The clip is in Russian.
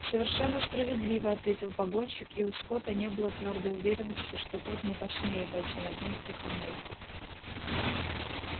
совершенно справедливо ответил погонщик и у скотта не было твёрдой уверенности что тот не подсмеивается над ним втихомолку